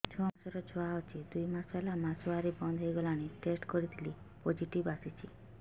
ଛଅ ମାସର ଛୁଆ ଅଛି ଦୁଇ ମାସ ହେଲା ମାସୁଆରି ବନ୍ଦ ହେଇଗଲାଣି ଟେଷ୍ଟ କରିଥିଲି ପୋଜିଟିଭ ଆସିଛି